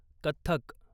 Kathak